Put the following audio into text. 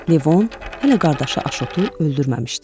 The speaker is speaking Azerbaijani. Levon hələ qardaşı Aşotu öldürməmişdi.